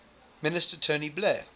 minister tony blair